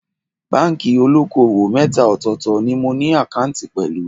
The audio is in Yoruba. Báńkì olóko-òwò mẹ́ta ọ̀tọ̀ọ̀tọ̀ ni mo ní àkáǹtì pẹ̀lú